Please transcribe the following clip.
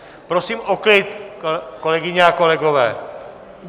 Prosím o klid, kolegyně a kolegové.